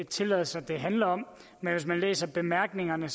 tilladelser det handler om men hvis man læser bemærkningerne